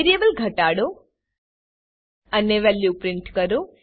વેરીએબલને ઘટાડો અને વેલ્યુ પ્રીંટ કરો